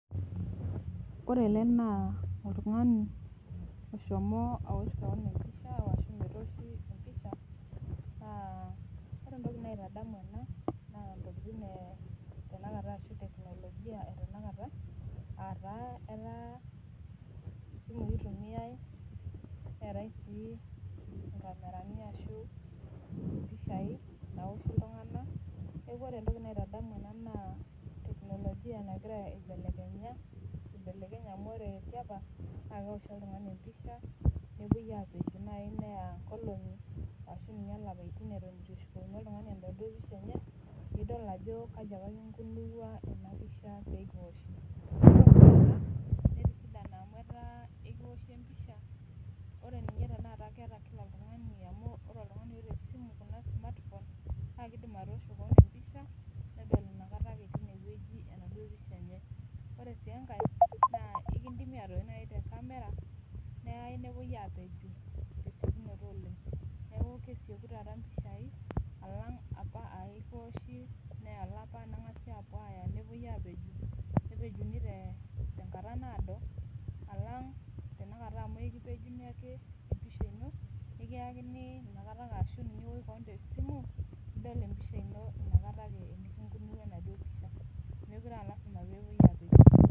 Ore ele na oltungani oshomo aosh keon empisha ashu metooshi empisha ore entoki naitadamu ena na ntokitin e teknolojia ataa kitumiaisimui neetai si nkamerani naoshieki mpishai naoshie ltunganak neaku ore entoki naitodolu ena na teknolojia nagira aibelekenya amu ore tiapa na keoshi oltungani pisha nepuoibapej neya nkolongi ashu lapatin itu eshukokini oltungani enaduo pisha enye nidol ajo kaja apa inkunua enapisha pekioshi ore oltungani oota esimu kuna smartphone nakidim atoosho keon pisha nedol tinewueji ana ore si enkae na ekidimi atosh te camera neyai nikipuoi airiwaki tinasimu ino neakubkesieki taaata mpishai neya olapa nengasai apuo apej netumi tenkata naado alang tanakata amu ekipejini empisha ino nikiyakini tanakata ashu iwosh tesimu ino nidol empisha ino inakata ake metute aalasima pepuoi apeju.